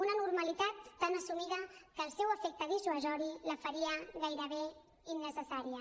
una normalitat tan assumida que el seu efecte dissuasori la faria gairebé innecessària